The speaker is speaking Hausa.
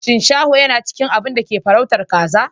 Shim shaho yana cikin abin da ke farautar kaza